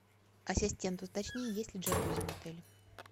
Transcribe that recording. ассистент уточни есть ли джакузи в отеле